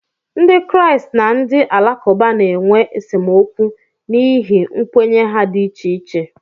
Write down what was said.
Ndị Kraịst na ndị Alakụba na-enwe esemokwu n'ihi nkwenye ha dị iche iche